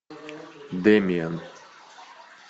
демиан